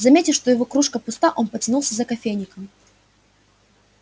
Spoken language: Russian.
заметив что его кружка пуста он потянулся за кофейником